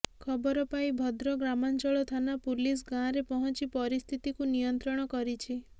ଖବର ପାଇ ଭଦ୍ର ଗ୍ରାମାଞ୍ଚଳ ଥାନା ପୁଲିସ ଗାଁରେ ପହଞ୍ଚି ପରିସ୍ଥିତିକୁ ନିୟନ୍ତ୍ରଣ କରିଛି